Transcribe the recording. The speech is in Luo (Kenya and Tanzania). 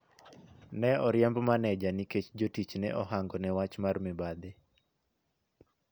Ne oriemb maneja nikech jotich ne ohangone wach mar mibadhi.